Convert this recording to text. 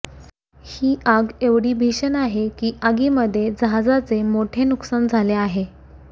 ही आग ऐवढी भीषण आहे की आगीमध्ये जहाजाचे मोठे नुकसान झाले आहे